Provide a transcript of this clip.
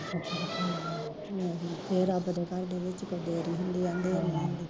ਰੱਬ ਦੇ ਘਰ ਵਿੱਚ ਦੇਰੀ ਹੁੰਦੀ ਆ ਅੰਦੇਰ ਨੀ ਹੁੰਦੀ